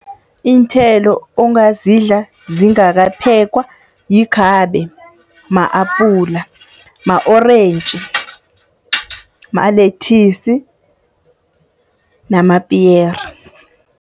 Iinthelo ongazidla zingakaphekwa yikhabe, ma-apula, ma-orentji, ma-lettuce namapiyere.